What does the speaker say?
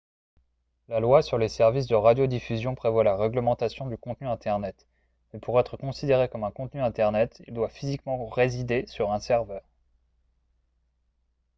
la loi sur les services de radiodiffusion prévoit la réglementation du contenu internet mais pour être considéré comme un contenu internet il doit physiquement résider sur un serveur